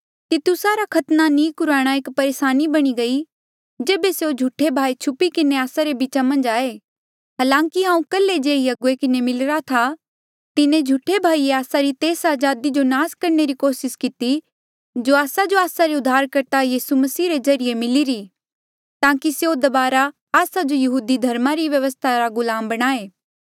तितुसा रा खतना नी कुराणा एक परेसानी बणी गई जेबे स्यों झूठे भाई छुपी किन्हें आस्सा रे बीचा मन्झ आये हालांकि हांऊँ कल्हे जे ही अगुवे किन्हें मिलिरा था तिन्हें झूठे भाईए आस्सा री तेस अजादी जो नास करणे री कोसिस किती जो आस्सा जो आस्सा रे उद्धारकर्ता यीसू मसीह रे ज्रीए मिलिरी ताकि स्यों दबारा आस्सा जो यहूदी धर्मा री व्यवस्था रा गुलाम बणाए